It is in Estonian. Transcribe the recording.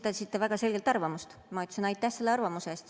Te esitasite väga selgelt arvamust, ma ütlesin aitäh selle arvamuse eest.